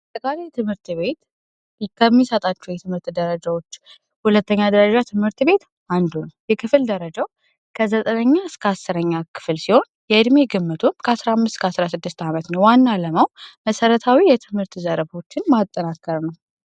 አጠቃላይ ትምህርት ቤት ከሚሰጣቸው የትምህርት ደረጃዎች ሁለተኛ ደረጃ ትምህርት ቤት አንዱን የክፍል ደረጃው ከ 9ኛ እስከ አስረኛ ክፍል ሲሆን የእድሜ ገምቶ 15 እስከ 16 አመት ነው። ዋናው መሰረታዊ ዓላማው የትምህርት ዘረቦችን ማጠናከር ነው።